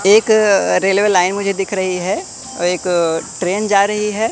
एक railway line मुझे दिख रही है एक ट्रेन जा रही हैं।